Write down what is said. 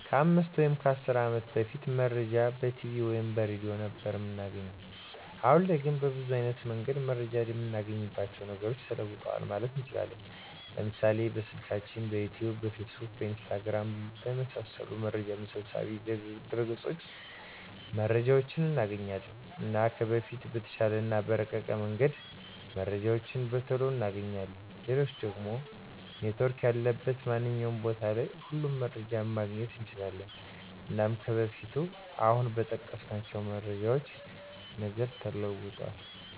ከ 5 ወይም 10 አመት በፊት መረጃን በቲቪ ወይም በሬድዮ ነበር እምናገኘዉ። አሁን ላይ ግን በብዙ አይነት መንገድ መረጃን እምናገኝባቸዉ ነገሮች ተለዉጠዋል ማለት እንችላለን፤ ለምሳሌ፦ በስልካችን፣ በዩቱዩብ፣ በፌስቡክ፣ በኢንስታግራም፣ የመሳሰሉት መረጃ መሰብሰቢያ ድረገፆች መረጃዎችን እናገኛለን። እና ከበፊቱ በተሻለ እና በረቀቀ መንገድ መረጃዎችን በቶሎ እናገኛለን፣ ሌላኛዉ ደሞ ኔትዎርክ ያለበት ማንኛዉም ቦታ ላይ ሁሉንም መረጃዎችን ማግኘት እንችላለን። እና ከበፊቱ አሁን በጠቀስኳቸዉ ነገሮች ተለዉጧል።